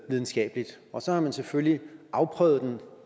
videnskabeligt og så har man selvfølgelig afprøvet den